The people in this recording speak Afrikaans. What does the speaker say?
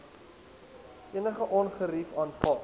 enige ongerief aanvaar